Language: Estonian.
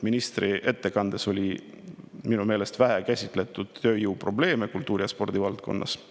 Ministri ettekandes käsitleti minu meelest vähe tööjõuprobleeme kultuuri‑ ja spordivaldkonnas.